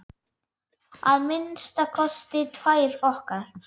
Að minnsta kosti tvær okkar.